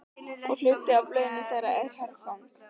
Og hluti af launum þeirra er herfang.